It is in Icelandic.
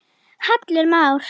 Hallur Már